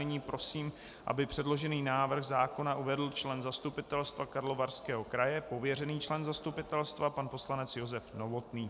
Nyní prosím, aby předložený návrh zákona uvedl člen zastupitelstva Karlovarského kraje, pověřený člen zastupitelstva, pan poslanec Josef Novotný.